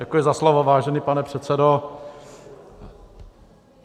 Děkuji za slovo, vážený pane předsedo.